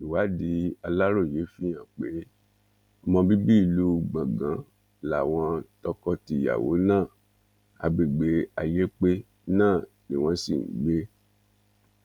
ìwádìí aláròye fìhàn pe ọmọ bíbí ìlú gbọngàn láwọn tọkọtìyàwó náà agbègbè ayépé náà ni wọn sì ń gbé